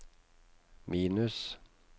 minus